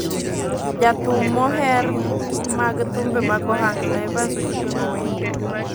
Ja thum moher mag thumbe mag ohangla, Evans Ocieng Owino,